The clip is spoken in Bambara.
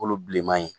Wolo bilenman in